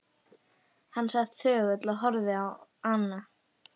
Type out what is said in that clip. Hann sat þögull og horfði á ána.